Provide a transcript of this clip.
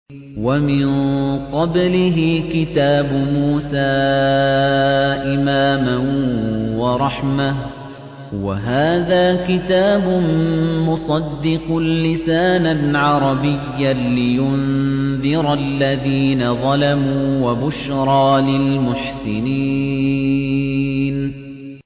وَمِن قَبْلِهِ كِتَابُ مُوسَىٰ إِمَامًا وَرَحْمَةً ۚ وَهَٰذَا كِتَابٌ مُّصَدِّقٌ لِّسَانًا عَرَبِيًّا لِّيُنذِرَ الَّذِينَ ظَلَمُوا وَبُشْرَىٰ لِلْمُحْسِنِينَ